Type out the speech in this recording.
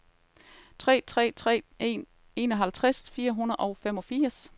tre tre tre en enoghalvtreds fire hundrede og femogfirs